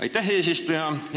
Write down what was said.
Aitäh, eesistuja!